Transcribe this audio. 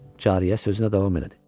Cariyə sözünə davam elədi.